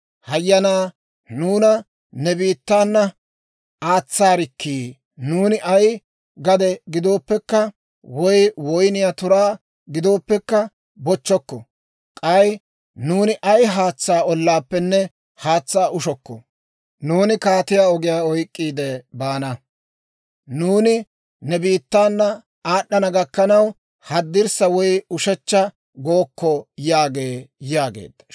Hayyanaa, nuuna ne biittaana aatsaarikkii! Nuuni ay gade giddooppekka woy woyniyaa turaa giddooppekka bochchokko! K'ay nuuni ay haatsaa ollaappenne haatsaa ushokko. Nuuni Kaatiyaa Ogiyaa oyk'k'iide baana; nuuni ne biittaana aad'ana gakkanaw, haddirssa woy ushechcha gookko› yaagee» yaageedda.